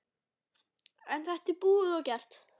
En þetta er búið og gert.